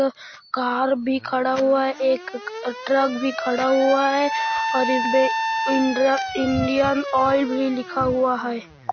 Car भी खड़ा हुआ हैंएक ट्रक भी खड़ा हुआ हैंऔर इनमे इंडियन ऑइल भी लिखा हुआ है।